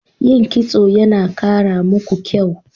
Yin Kitso yana kara muku kyau.